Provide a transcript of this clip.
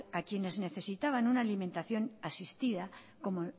a quienes necesitaban una alimentación asistida como